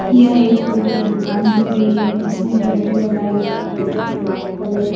यह एक फूलों की दुकान दिख रही है जिसमें गजरे लगाए गए हैं गजरे में व्हाइट कलर --